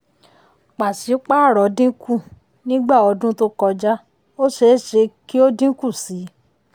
pàṣípàrọ̀ dínkù nígbà ọdún tó kọjá ó ṣeé ṣe kí ó dínkù sí i.